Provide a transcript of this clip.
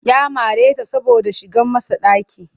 Ya mare ta saboda ta shigar masa ɗaki